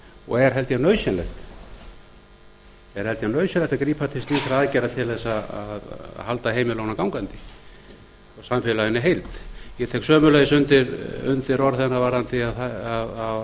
og er held ég nauðsynlegt að grípa til slíkra aðgerða til þess að halda heimilunum gangandi og samfélaginu í heild ég tek sömuleiðis undir orð hennar varðandi að á